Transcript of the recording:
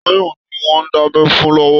Táyọ̀ ni wọ́n ń dábẹ́ fún lọ́wọ́.